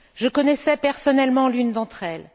Je connaissais personnellement l'une d'entre elles.